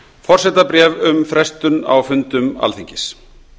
forsetabréf um frestun á fundum alþingis